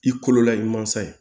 I kololamansa ye